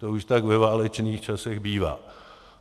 To už tak ve válečných časech bývá.